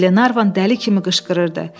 Qlenarvan dəli kimi qışqırırdı.